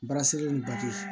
Baara sege baji